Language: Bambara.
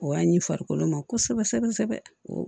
O y'a ɲi farikolo ma kosɛbɛ kosɛbɛ